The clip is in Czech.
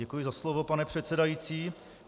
Děkuji za slovo, pane předsedající.